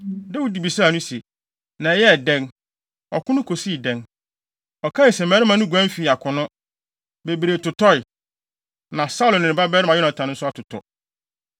Dawid bisaa no se, “Na ɛyɛɛ dɛn? Ɔko no kosii dɛn?” Ɔkae se, “Mmarima no guan fii akono. Bebree totɔe. Na Saulo ne ne babarima Yonatan nso atotɔ.”